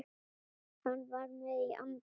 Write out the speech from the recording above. Hann var með í anda.